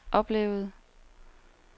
oplevede